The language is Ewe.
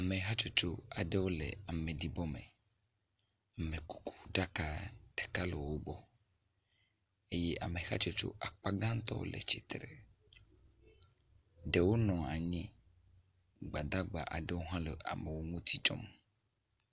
Ame hatsotso aɖewo le ameɖibɔ me. Amekuku ɖaka ɖeka le wo gbɔ eye ame hatsotso akpa gãtɔ le tsitre, ɖewo nɔ anyi. Gbadagba aɖewo hã le amewo ŋuti dzɔm.